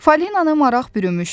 Falinanı maraq bürümüşdü.